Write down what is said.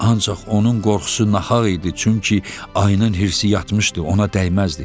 Ancaq onun qorxusu nahaq idi, çünki ayının hirsi yatmışdı, ona dəyməzdi.